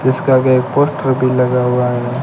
इसके आगे एक पोस्टर भी लगा हुआ है।